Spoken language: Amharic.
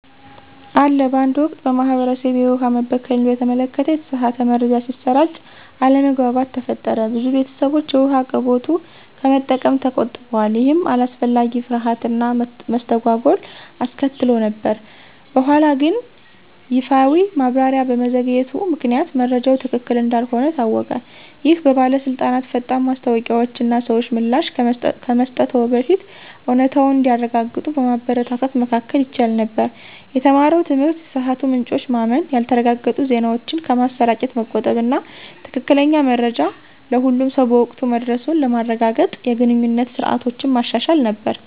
አለ በአንድ ወቅት፣ በማህበረሰቤ፣ የውሃ መበከልን በተመለከተ የተሳሳተ መረጃ ሲሰራጭ አለመግባባት ተፈጠረ። ብዙ ቤተሰቦች የውሃ አቅርቦቱን ከመጠቀም ተቆጥበዋል, ይህም አላስፈላጊ ፍርሃት እና መስተጓጎል አስከትሎ ነበር። በኋላግን ይፋዊ ማብራሪያ በመዘግየቱ ምክንያት መረጃው ትክክል እንዳልሆነ ታወቀ። ይህ በባለስልጣናት ፈጣን ማስታወቂያዎች እና ሰዎች ምላሽ ከመስጠትዎ በፊት እውነታውን እንዲያረጋግጡ በማበረታታት መከላከል ይቻል ነበር። የተማረው ትምህርት የተሳሳቱ ምንጮችን ማመን፣ ያልተረጋገጡ ዜናዎችን ከማሰራጨት መቆጠብ እና ትክክለኛ መረጃ ለሁሉም ሰው በወቅቱ መድረሱን ለማረጋገጥ የግንኙነት ስርዓቶችን ማሻሻል ነበር።